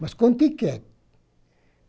Mas com tíquete.